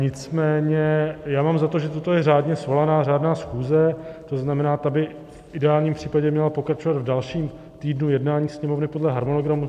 Nicméně já mám za to, že toto je řádně svolaná řádná schůze, to znamená, ta by v ideálním případě měla pokračovat v dalším týdnu jednání Sněmovny podle harmonogramu.